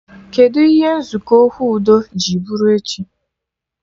Kedụ ihe nzukọ okwu udo ji bụrụ echi